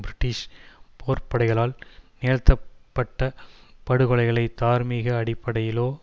British போர்ப்படைகளால் நிகழ்த்தப்பட்ட படுகொலைகளை தார்மீக அடிப்படையிலோ